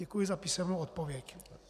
Děkuji za písemnou odpověď.